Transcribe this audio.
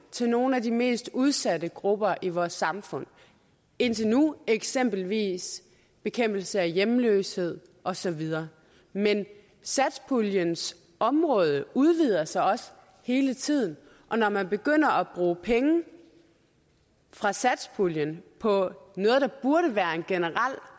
til nogle af de mest udsatte grupper i vores samfund indtil nu eksempelvis bekæmpelse af hjemløshed og så videre men satspuljens områder udvider sig også hele tiden og når man begynder at bruge penge fra satspuljen på noget der burde være en generel